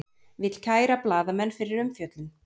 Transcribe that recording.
Vill kæra blaðamenn fyrir umfjöllun